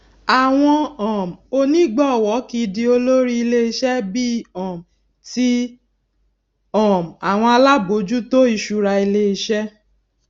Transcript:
àwọn um onígbòwó kìí di olórí ilé iṣé bíi um ti um àwọn alábòjútó ìṣúra ilé iṣé